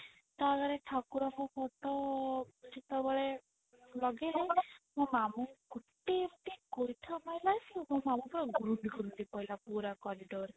ତ ଅପରେ ଠାକୁରଙ୍କ ଘରୁ ତ ସେତେବେଳେ ମୋ ମାମୁଁଙ୍କୁ ଗୋଟେ ଏମତି ଗୋଇଠା ମାଇଲା ସେ ମୋ ମାମୁଁ ପୁରା ଗୁରୁଣ୍ଡି ଗୁରୁଣ୍ଡି ପଡିଲା ପୁରା corridor ରେ